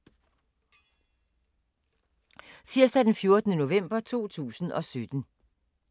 Tirsdag d. 14. november 2017